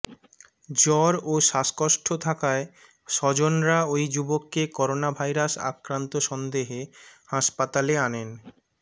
জ্বর ও শ্বাসকষ্ট থাকায় স্বজনরা ওই যুবককে করোনাভাইরাস আক্রান্ত সন্দেহে হাসপাতালে আনেন